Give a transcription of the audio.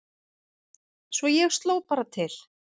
Svo ég sló bara til